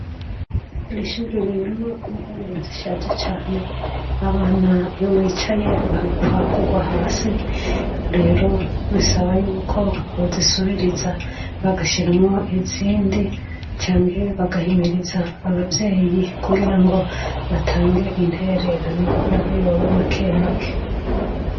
Iri shuri ririmwo intebe zishaja cane. Abana iyo bicaye bahakwa kugwa hasi rero bisaba yuko bozisubiriza bagashiramwo izindi canke bagahimiriza abavyeyi kugira ngo batange intererano n'aho yoba make make.